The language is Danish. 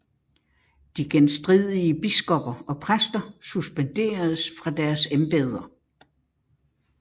De genstridige biskopper og præster suspenderedes fra deres embeder